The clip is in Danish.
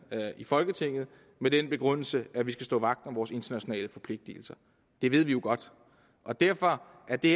i folketinget med den begrundelse at vi skal stå vagt om vores internationale forpligtelser det ved vi jo godt og derfor er det